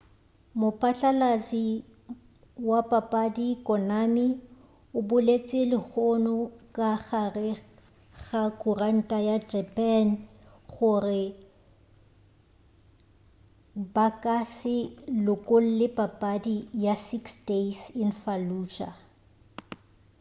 mopatlalatši wa papadi konami o boletše lehono ka gare ga khuranta ya japane gore ba ka se lokolle papadi ya six days in fallujah